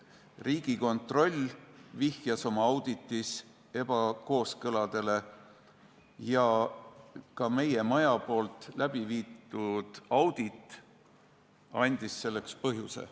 Riigikontroll vihjas oma auditis ebakõladele ja ka meie maja audit andis selleks põhjuse.